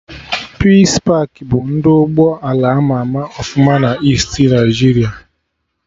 Peace pakị bụ ndị ụgbọ ala ama ama ọfụma na Easti Naịjiria